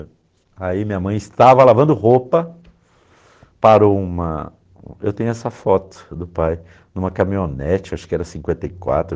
E aí minha mãe estava lavando roupa, parou uma... Eu tenho essa foto do pai, em uma caminhonete, acho que era cinquenta e quatro